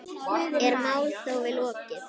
Er málþófi lokið?